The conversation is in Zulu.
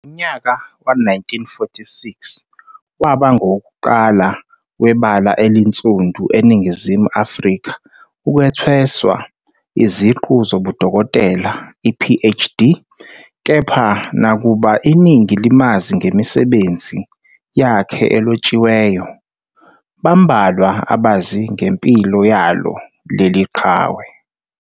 Ngonyaka we-1946 waba nguwokuqala webala elinzundu eNingizimu Afrika ukwethweswa iziqu zobuDokotela, Ph.D. Kepha nakuba iningi limazi ngemisebenzi yakhe elotshiweyo, bambalwa abazi ngempilo yalo leli qhawe.